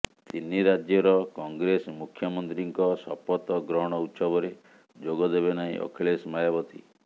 ତିନି ରାଜ୍ୟର କଂଗ୍ରେସ ମୁଖ୍ୟମନ୍ତ୍ରୀଙ୍କ ଶପଥ ଗ୍ରହଣ ଉତ୍ସବରେ ଯୋଗ ଦେବେ ନାହିଁ ଅଖିଳେଶ ମାୟାବତୀ